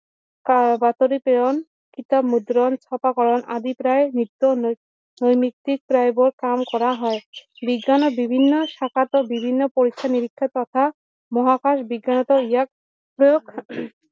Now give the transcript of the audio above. বাতৰি প্ৰেৰণ, কিতাপ মুদ্ৰণ, চপাকৰন আদি প্ৰায় নিত্য নৈমিত্তিক কাম কৰা হয় বিজ্ঞানে বিভিন্ন শাখাতে বিভিন্ন পৰীক্ষা নিৰীক্ষা থকা মহাকাশ বিজ্ঞানতো ইয়াক প্ৰয়োগ